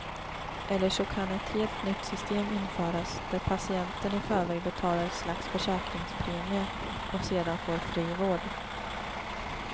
Eller så kan ett helt nytt system införas, där patienten i förväg betalar ett slags försäkringspremie och sedan får fri vård.